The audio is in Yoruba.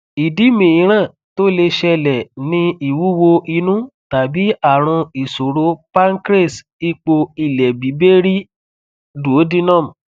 idi miiran to le ṣẹlẹ ni ìwúwo inu tabi àrùn isoro pancreas ipo ilebibere duodenum